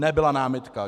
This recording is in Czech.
Nebyla námitka.